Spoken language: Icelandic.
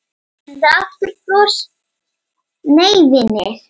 Nei vinir!